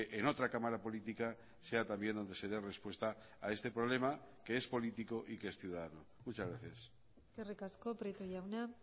en otra cámara política sea también donde se de respuesta a este problema que es político y que es ciudadano muchas gracias eskerrik asko prieto jauna